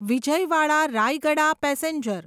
Vijayawada Rayagada passenger